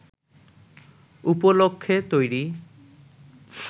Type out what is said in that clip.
উপলক্ষ্যে তৈরি